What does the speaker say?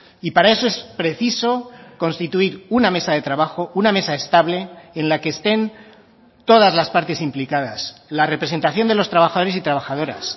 y para eso es preciso constituir una mesa de trabajo una mesa estable en la que estén todas las partes implicadas la representación de los trabajadores y trabajadoras